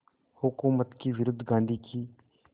हुकूमत के विरुद्ध गांधी की